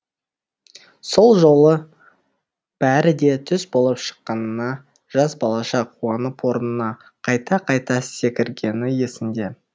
сол жолы бәрі де түс болып шыққанына жас балаша қуанып орнына қайта қайта секіргені есінде